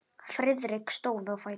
Friðrik stóð á fætur.